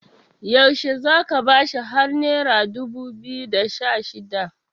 yaushe za ka bashi har naira dubu biyu da Sha shida